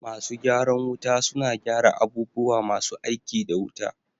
Masu gyaran wuta suna gyara abubuwa masu aiki da wuta